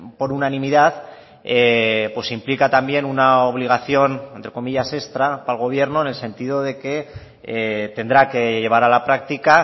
por unanimidad implica también una obligación entre comillas extra para el gobierno en el sentido de que tendrá que llevar a la práctica